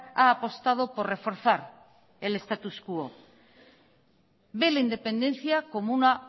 ha apostado por reforzar el status quo ve la independencia como una